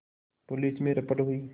police में रपट हुई